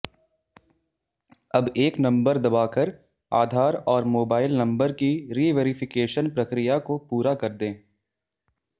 अब एक नंबर दबाकर आधार और मोबाइल नंबर की रिवैरिफिकेशन प्रक्रिया को पूरा कर दें